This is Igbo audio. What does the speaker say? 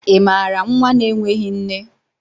ị maara nwa na-enweghị nne?